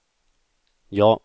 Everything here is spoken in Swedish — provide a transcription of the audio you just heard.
ja